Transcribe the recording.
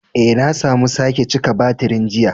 Eh, na samu sake cika batirin jiya.